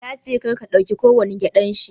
Yace karka dauki kowani gƴaɗan shi